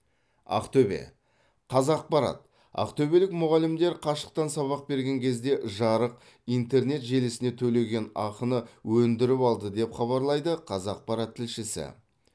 ақтөбе қазақпарат ақтөбелік мұғалімдер қашықтан сабақ берген кезде жарық интернет желісіне төлеген ақыны өндіріп алды деп хабарлайды қазақпарат тілшісі